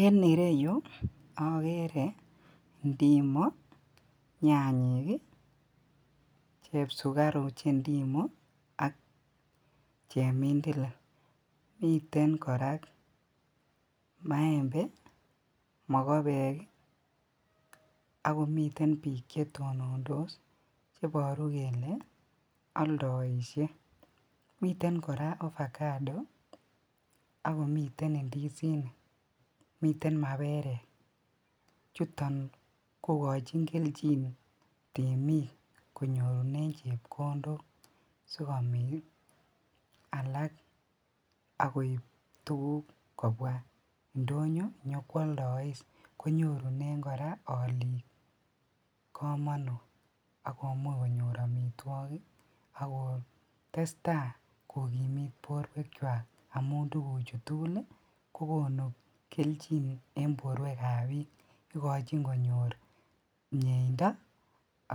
En ireyuu okeree ndimoo, nyanyik, chepsukaru chee ndimoo ak chemindilil, miten kora maembe, mokobeek akomiten biik chetonondos cheboru kelee oldoishe, miten kora avocado akomiten indisinik, miten maberek, chuton kokochin kelchin temiik konyorunen chepkondok sikomiin alaak akoib tukuk kobwa ndonyo nyokwoldois konyorunen kora oliik komonut akomuch konyor amitwokik akoo testaa kokimiit borwekwak amuun tukuchu tukul kokonu kelchin en borwekab biik, ikochin konyor mieindo